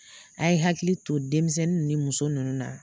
A' ye hakili to denmisɛnnin ni muso ninnu na.